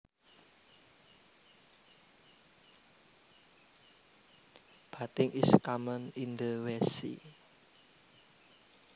Bathing is common in the West Sea